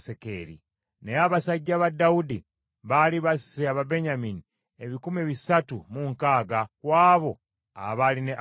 Naye abasajja ba Dawudi baali basse Ababenyamini ebikumi bisatu mu nkaaga ku abo abaali ne Abuneeri.